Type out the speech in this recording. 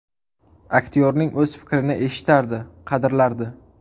Aktyorning o‘z fikrini eshitardi, qadrlardi.